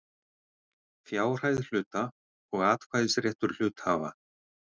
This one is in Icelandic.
Fjárhæð hluta og atkvæðisréttur hluthafa.